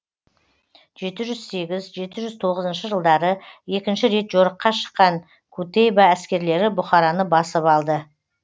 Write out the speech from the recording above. жеті жүз сегіз жеті жүз тоғызыншы жылдары екінші рет жорыққа шыққан кутейба әскерлері бұхараны басып алды